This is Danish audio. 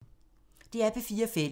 DR P4 Fælles